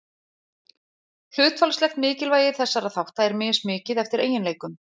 Hlutfallslegt mikilvægi þessara þátta er mismikið, eftir eiginleikum.